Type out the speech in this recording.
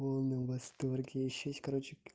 в полном восторге ещё есть короче